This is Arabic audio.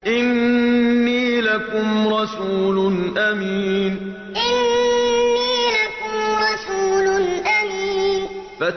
إِنِّي لَكُمْ رَسُولٌ أَمِينٌ إِنِّي لَكُمْ رَسُولٌ أَمِينٌ